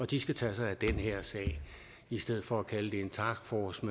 de skal tage sig af den her sag i stedet for at kalde det en taskforce